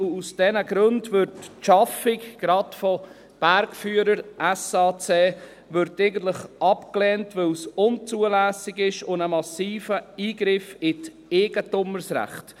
Aus diesen Gründen wird die Schaffung gerade von Bergführern SAC abgelehnt, weil es unzulässig ist und einen massiven Eingriff in die Eigentumsrechte darstellt.